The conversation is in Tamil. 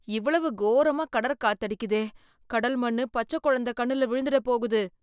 இவ்ளோ கோரமா கடற் காத்தடிக்குதே ! கடல் மண்ணு பச்ச குழந்த கண்ணுல விழுந்திட போகுது?